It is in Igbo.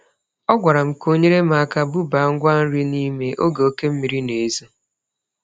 Ọ gwara m ka o nyere m aka bubaa ngwa nri n'ime oge oke mmiri na-ezo.